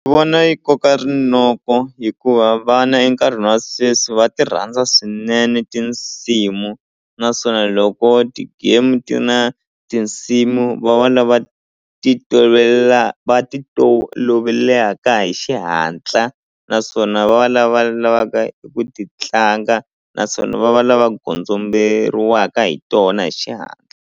Ni vona yi koka rinoko hikuva vana enkarhini wa sweswi va ti rhandza swinene tinsimu naswona loko ti-game ti na tinsimu va va lava ti tolovela va toloveleka hi xihatla naswona va lava lavaka eku titlanga naswona va va lava gondzomberiwaka hi tona hi xihatla.